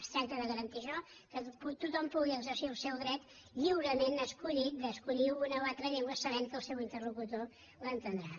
es tracta de garantir això que tothom pugui exercir el seu dret lliurement escollit d’escollir una o altra llengua sabent que el seu interlocutor l’entendrà